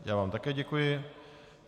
Já vám také děkuji.